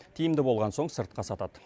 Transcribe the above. тиімді болған соң сыртқа сатады